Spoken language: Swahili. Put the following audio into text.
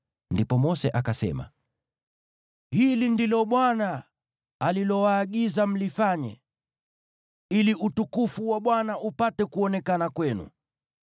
Ndipo Mose akasema, “Hili ndilo Bwana alilowaagiza mlifanye, ili utukufu wa Bwana upate kuonekana kwenu.”